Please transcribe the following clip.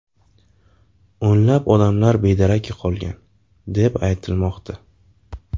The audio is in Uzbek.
O‘nlab odamlar bedarak yo‘qolgan, deb aytilmoqda.